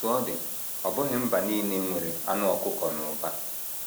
Otú ọ dị, ọ bụghị mba nile nwere anụ ọkụkọ n’ụba.